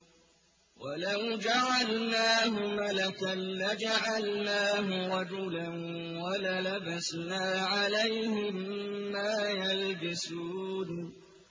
وَلَوْ جَعَلْنَاهُ مَلَكًا لَّجَعَلْنَاهُ رَجُلًا وَلَلَبَسْنَا عَلَيْهِم مَّا يَلْبِسُونَ